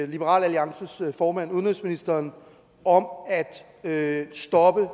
liberal alliances formand udenrigsministeren om at stoppe